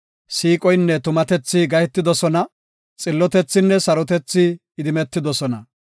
Siiqoynne tumatethi gahetidosona; Xillotethinne sarotethi idimetidosona.